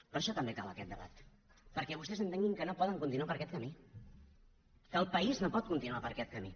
per això també cal aquest debat perquè vostès entenguin que no poden continuar per aquest camí que el país no pot continuar per aquest camí